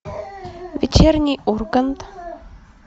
вечерний ургант